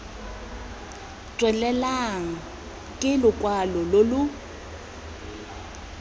tswelelang stke lokwalo lo lo